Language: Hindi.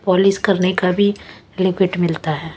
पॉलिश करने का भी लिक्विड मिलता है।